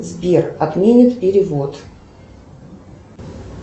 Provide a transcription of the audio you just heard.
сбер отменит перевод